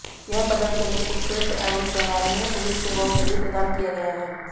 यह पदक उन्हें उत्कृष्ट एवं सराहनीय पुलिस सेवाओं के लिए प्रदान किया गया है